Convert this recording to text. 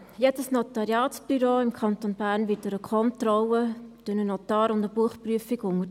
Jedes Notariatsbüro im Kanton Bern wird einer Kontrolle durch einen Notar und einer Buchprüfung unterzogen.